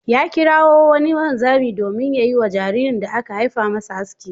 Ya kirawo wani wanzami domin ya yi wa jaririn da aka haifa masa aski.